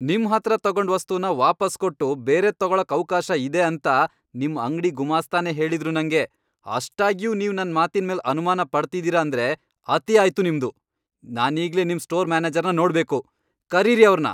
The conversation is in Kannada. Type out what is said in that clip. ನಿಮ್ಹತ್ರ ತಗೊಂಡ್ ವಸ್ತುನ ವಾಪಸ್ ಕೊಟ್ಟು ಬೇರೆದ್ ತಗೊಳಕ್ ಅವ್ಕಾಶ ಇದೆ ಅಂತ ನಿಮ್ ಅಂಗ್ಡಿ ಗುಮಾಸ್ತನೇ ಹೇಳಿದ್ರು ನಂಗೆ, ಅಷ್ಟಾಗ್ಯೂ ನೀವ್ ನನ್ ಮಾತಿನ್ಮೇಲ್ ಅನುಮಾನ ಪಡ್ತಿದೀರ ಅಂದ್ರೆ ಅತಿ ಆಯ್ತು ನಿಮ್ದು, ನಾನೀಗ್ಲೇ ನಿಮ್ ಸ್ಟೋರ್ ಮ್ಯಾನೇಜರ್ನ ನೋಡ್ಬೇಕು, ಕರೀರಿ ಅವ್ರ್ನ!